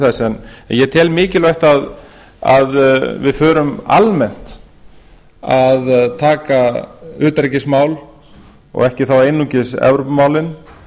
þess en ég tel mikilvægt að við förum almennt að taka utanríkismál og ekki þá einungis evrópumálin